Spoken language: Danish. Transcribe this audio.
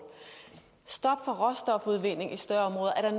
stop for råstofudvinding i større områder er